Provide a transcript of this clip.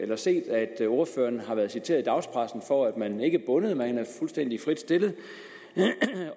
jo set at ordføreren har været citeret i dagspressen for at man ikke er bundet man er fuldstændig frit stillet